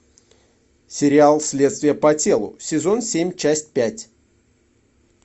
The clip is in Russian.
сериал следствие по телу сезон семь часть пять